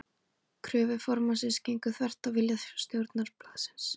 Kröfur formannsins gengu þvert á vilja stjórnar blaðsins.